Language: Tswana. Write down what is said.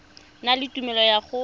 na le tumelelo ya go